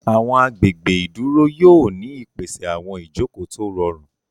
Àwọn agbègbè ìdúró yóò ní ìpèsè àwọn Ìjoko tó rọrùn.